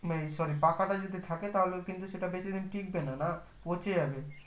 উম sorry পাকা টা যদি থাকে তাহলে কিন্তু সেটা বেশি দিন টিকবে না পঁচে যাবে